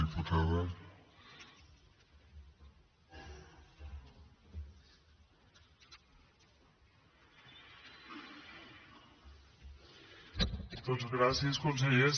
doncs gràcies conseller